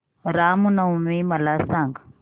राम नवमी मला सांग